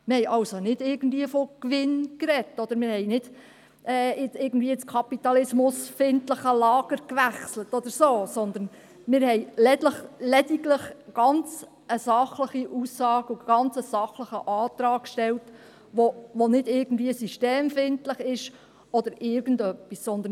» Wir haben also nicht irgendwie von Gewinn gesprochen oder ins kapitalismusfeindliche Lager gewechselt oder so, sondern: Wir haben lediglich eine ganz sachliche Aussage gemacht und einen ganz sachlichen Antrag gestellt, der nicht irgendwie systemfeindlich oder sonst irgendwie ist.